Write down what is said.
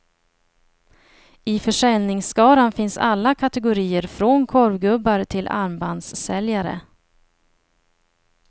I försäljningsskaran finns alla kategorier, från korvgubbar till armbandssäljare.